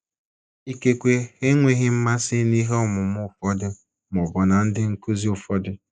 Ikekwe ha enweghị mmasị n’ihe ọmụmụ ụfọdụ ma ọ bụ ná ndị nkụzi ụfọdụ.